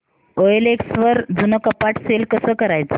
OLX वर जुनं कपाट सेल कसं करायचं